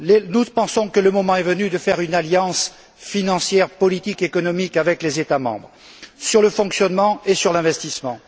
Nous pensons que le moment est venu de faire une alliance financière, politique et économique avec les États membres sur le fonctionnement et sur l'investissement.